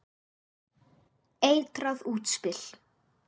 Eitrað útspil.